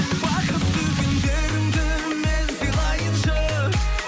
бақытты күндеріңді мен сыйлайыншы